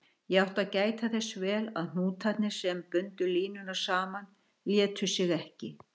Ég átti að gæta þess vel að hnútarnir, sem bundu línuna saman, létu sig ekki.